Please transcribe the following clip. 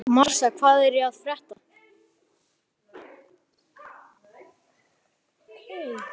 Marsa, hvað er að frétta?